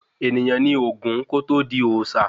Ènìyàn nì Ògún kò tọ di Òòsà